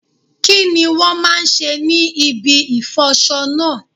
Kí ni wón máa ń ṣe ní ibi ìfọ'ṣọ náà?